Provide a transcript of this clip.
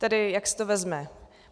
Tedy jak se to vezme.